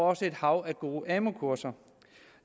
også et hav af gode amu kurser